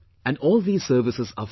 And all these services are free